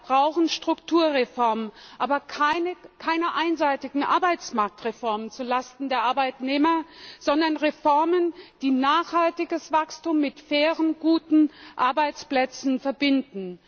Ja, wir brauchen Strukturreformen, aber keine einseitigen Arbeitsmarktreformen zulasten der Arbeitnehmer, sondern Reformen, die nachhaltiges Wachstum mit fairen, guten Arbeitsplätzen verbinden.